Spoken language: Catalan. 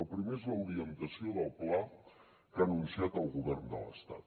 el primer és l’orientació del pla que ha anunciat el govern de l’estat